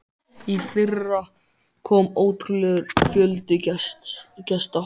Í fyrra kom ótrúlegur fjöldi gesta.